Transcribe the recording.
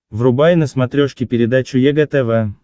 врубай на смотрешке передачу егэ тв